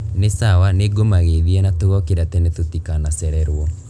Ni sawa nĩngũmageithia na tugokĩra tene tutikanacererwo